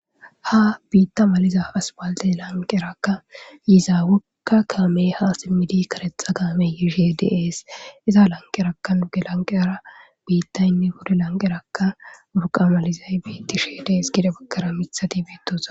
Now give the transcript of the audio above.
ha biitta maliza aspalte lanqerakka yiza wogga kaamee ha simmidi karetha kaameyihe dees iza lanqerakkan ge lanqe ara biittaynne huddi lanqerakkan buqa malizay biittishe dees gide baggara mithati betosona